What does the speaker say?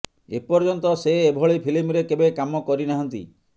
ଏ ପର୍ଯ୍ୟନ୍ତ ସେ ଏଭଳି ଫିଲ୍ମରେ କେବେ କାମ କରିନାହାନ୍ତି